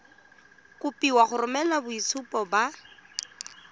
kopiwa go romela boitshupo ba